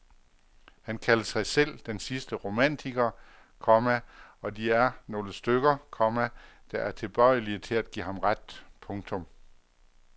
Han kaldte sig selv den sidste romantiker, komma og de er nogle stykker, komma der er tilbøjelige til at give ham ret. punktum